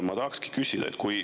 Ma tahaks küsida seda.